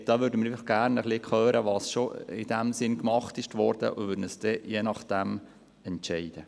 Wir würden gerne hören, was schon getan wurde, und werden uns je nachdem entscheiden.